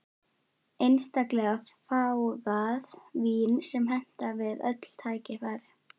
Einstaklega fágað vín sem hentar við öll tækifæri.